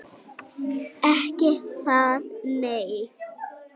Ekki það nei.